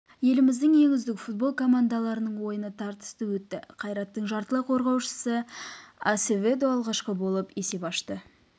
еліміздің ең үздік футбол командаларының ойыны тартысты өтті қайраттың жартылай қорғаушысы асеведо алғашқы болып есеп ашты